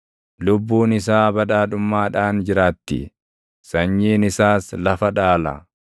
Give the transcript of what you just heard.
Lubbuun isaa badhaadhummaadhaan jiraatti; sanyiin isaas lafa dhaala.